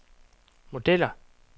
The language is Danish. modeller